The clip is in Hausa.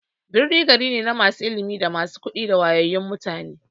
Birni gari ne na masu ilimi, da masu kuɗi da wayayyun mutane.